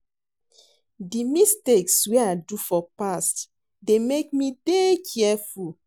Di mistakes wey I do for past dey make me dey careful.